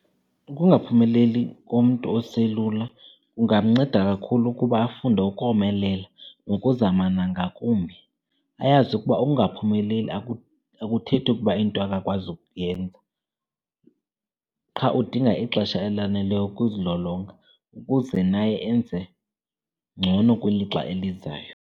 Ukungaphumeleli komntu oselula kungamnceda kakhulu ukuba afunde ukomelela nokuzama nangakumbi. Ayazi ukuba ukungaphumeleli akuthethi ukuba into akakwazi ukuyenza qha udinga ixesha elaneleyo ukuzilolonga ukuze naye enze ngcono kwilixa elizayo.